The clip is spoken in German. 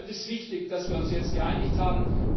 Deshalb ist es wichtig, dass wir uns jetzt geeinigt haben.